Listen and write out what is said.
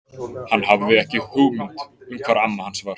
Hann hafði ekki hugmynd um hvar amma hans var.